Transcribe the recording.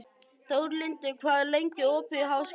Þórlindur, hvað er lengi opið í Háskólanum á Hólum?